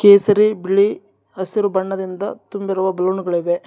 ಕೇಸರಿ ಬಿಳಿ ಹಸಿರು ಬಣ್ಣದಿಂದ ತುಂಬಿರುವ ಬಲುನ್ ಗಳಿವೆ.